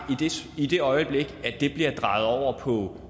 i det øjeblik at det bliver drejet over på